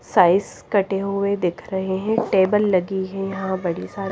size कटे हुए दिख रहे हैं टेबल लगी है यहां बड़ी--